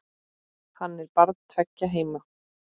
Hann er barn tveggja heima.